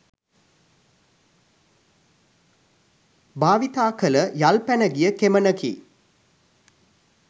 භාවිතා කල යල් පැනගිය කෙමනකි.